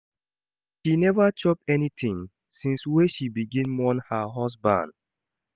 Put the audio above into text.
She neva chop anytin since wey she begin mourn her husband